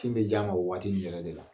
Kin bɛ di a ma o waati nin yɛrɛ de la.